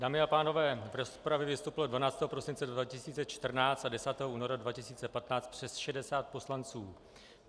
Dámy a pánové, v rozpravě vystoupilo 12. prosince 2014 a 10. února 2015 přes 60 poslanců.